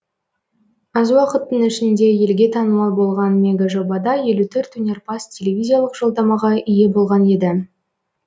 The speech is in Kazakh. аз уақыттың ішінде елге танымал болған мегажобада елу төрт өнерпаз телевизиялық жолдамаға ие болған еді